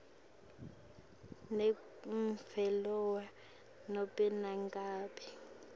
nemphendvulo nobe nangabe